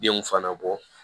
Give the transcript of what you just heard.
Denw fana bɔ